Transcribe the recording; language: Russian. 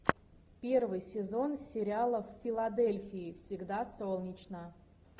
первый сезон сериала в филадельфии всегда солнечно